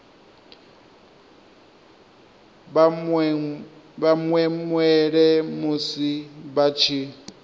vha mwemwele musi vha tshi